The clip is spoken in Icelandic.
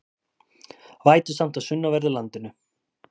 Vætusamt á sunnanverðu landinu